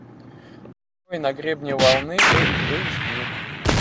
на гребне волны эйч ди